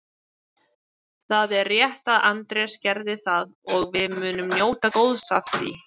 Það er rétt að Andrés gerði það og við munum njóta góðs af því.